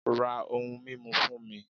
Ra ohun mímu fún mi